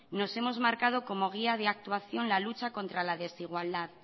nos hemos marcado como guía de actuación la lucha contra la desigualdad